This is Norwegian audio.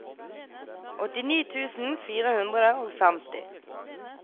åttini tusen fire hundre og femti